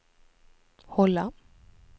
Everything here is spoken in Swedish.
hålla